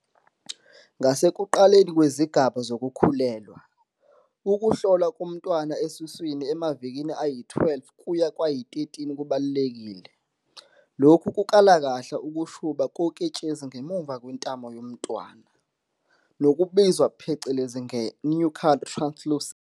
"Ngasekuqaleni kwezigaba zokukhulelwa, ukuhlolwa komntwana esesiswini emavikini ayi-12 kuya kwayi-13 kubalulekile. Lokhu kukala kahle ukushuba koketshezi ngemuva kwentamo yomntwana, nokubizwa phecelezi nge-nuchal translucency.